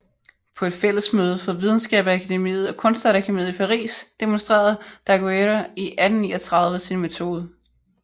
På et fællesmøde for videnskabsakademiet og kunstakademiet i Paris demonstrerede Daguerre i 1839 sin metode